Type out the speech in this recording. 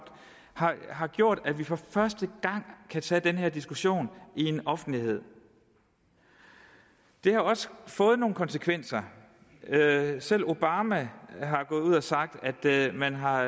har gjort at vi for første gang kan tage den her diskussion i en offentlighed det har også fået nogle konsekvenser selv obama er gået ud og har sagt at man har